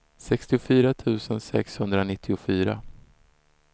sextiofyra tusen sexhundranittiofyra